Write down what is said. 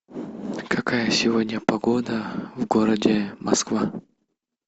какая сегодня погода в городе москва